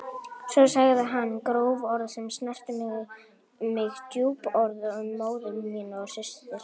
Svo sagði hann gróf orð sem snertu mig djúpt, orð um móður mína og systur.